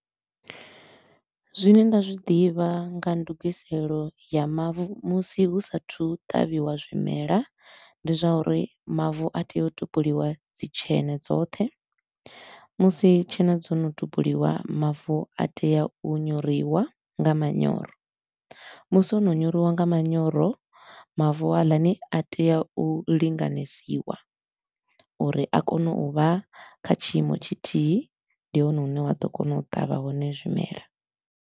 Zwine nda zwi ḓivha nga ndugiselo ya mavu musi hu sa a thu u tavhiwa zwimela, ndi zwa uri mavu a tea u topoliwa dzi tsheṋe dzoṱhe, musi tshene dzo no topoliwa mavu a tea u nyoriwa nga manyoro. Musi o no nyoriwa nga manyoro, mavu haaḽani a tea u linganyisiwa uri a kone u vha kha tshiimo tshithihi ndi hone hune wa ḓo kona u ṱavha hone zwimela.